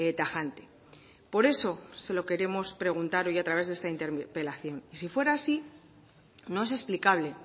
tajante por eso se lo queremos preguntar hoy a través de esta interpelación y sí fuera así no es explicable